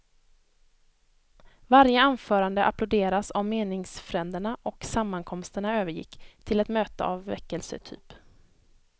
Varje anförande applåderas av meningsfränderna och sammankomsten övergick till ett möte av väckelsetyp.